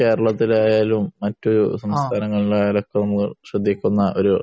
കേരളത്തിലായാലും മറ്റു സംസ്ഥാനങ്ങളിലായാലും നമ്മൾ ശ്രദ്ധിക്കുന്ന ഒരു